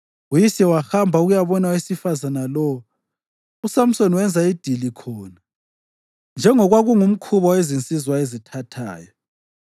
Uyise wahamba ukuyabona owesifazane lowo. USamsoni wenza idili khona, njengokwakungumkhuba wezinsizwa ezithathayo.